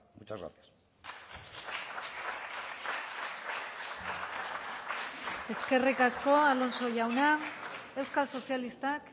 muchas gracias eskerrik asko alonso jauna euskal sozialistak